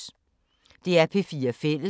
DR P4 Fælles